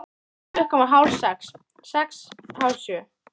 Klukkan varð hálf sex. sex. hálf sjö.